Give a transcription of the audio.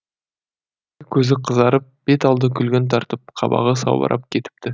көзі қызарып бет алды күлгін тартып қабағы салбырап кетіпті